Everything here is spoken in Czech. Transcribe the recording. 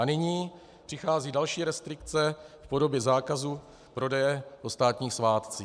A nyní přichází další restrikce v podobě zákazu prodeje o státních svátcích.